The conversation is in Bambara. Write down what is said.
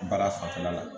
Baara fanfɛla la